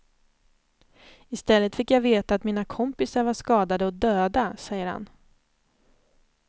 I stället fick jag veta att mina kompisar var skadade och döda, säger han.